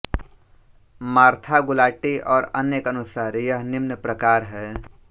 Martha Gulati और अन्य के अनुसार यह निम्न प्रकार है